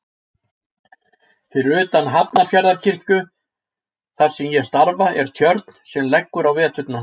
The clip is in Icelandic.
Fyrir utan Hafnarfjarðarkirkju þar sem ég starfa er tjörn sem leggur á veturna.